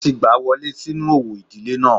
Wọ́n ti gbà á wọlé sínú òwò ìdílé náà